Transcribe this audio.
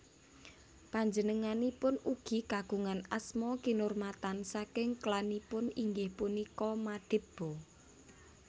Panjenenganipun ugi kagungan asma kinurmatan saking klanipun inggih punika Madiba